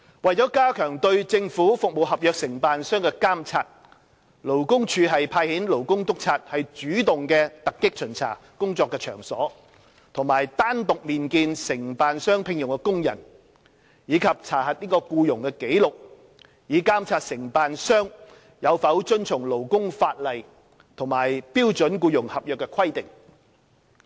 為加強對政府服務合約承辦商的監察，勞工處派遣勞工督察主動突擊巡查工作場所和單獨面見承辦商聘用的工人，以及查核僱傭紀錄，以監察承辦商有否遵從勞工法例和標準僱傭合約的規定。